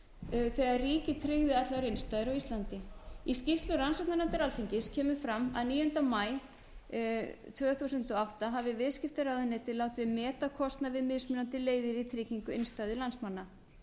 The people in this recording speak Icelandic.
þegar ríkið tryggði allar innstæður á íslandi í skýrslu rannsóknarnefndar alþingis kemur fram að níunda maí tvö þúsund og átta hafði viðskiptaráðuneyti látið meta kostnað við mismunandi leiðir í tryggingu innstæðna landsmanna